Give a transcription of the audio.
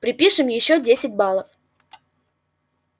припишем ещё десять баллов